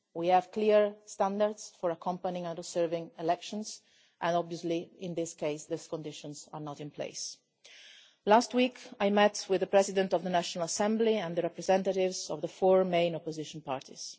We have clear standards for monitoring and observing elections and obviously, in this case, these conditions are not in place. Last week I met with the President of the National Assembly and the representatives of the four main opposition parties.